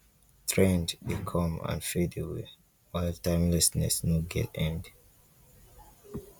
trend de come and fade away while timelessness no get end